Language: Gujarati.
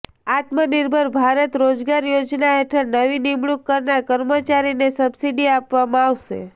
આત્મનિર્ભર ભારત રોજગાર યોજના હેઠળ નવી નિમણૂક કરનાર કર્મચારીને સબસિડી આપવામાં આવશે